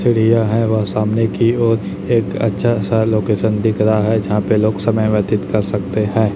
चिड़िया है वहां सामने की ओर एक अच्छा सा लोकेशन दिख रहा है जहां पे लोग समय व्यतीत कर सकते हैं।